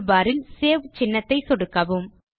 toolbar இல் save சின்னத்தை சொடுக்கவும்